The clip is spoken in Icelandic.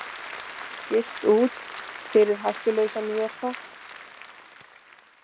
Skipt út fyrir hættulausan vökva